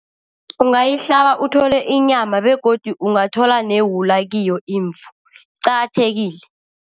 Ungayihlaba uthole inyama begodu ungathola newula kiyo imvu, iqakathekile.